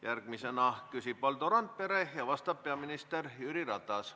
Järgmisena küsib Valdo Randpere ja vastab peaminister Jüri Ratas.